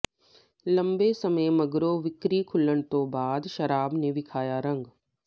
ਲੰਮੇ ਸਮੇਂ ਮਗਰੋਂ ਵਿਕਰੀ ਖੁੱਲ੍ਹਣ ਤੋਂ ਬਾਅਦ ਸ਼ਰਾਬ ਨੇ ਵਿਖਾਇਆ ਰੰਗ